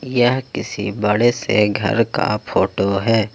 यह किसी बड़े से घर का फोटो है।